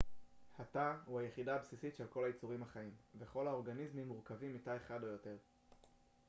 התא הוא היחידה הבסיסית של כל היצורים החיים וכל האורגניזמים מורכבים מתא אחד או יותר